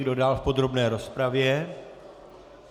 Kdo dál v podrobné rozpravě?